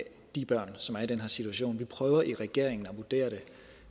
de børn som er i den her situation vi prøver i regeringen at vurdere det